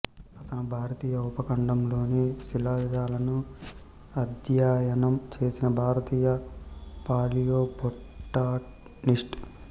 అతను భారతీయ ఉపఖండంలోని శిలాజాలను అధ్యయనం చేసిన భారతీయ పాలియోబొటానిస్ట్